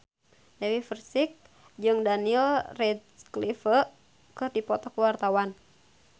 Dewi Persik jeung Daniel Radcliffe keur dipoto ku wartawan